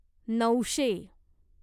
नऊशे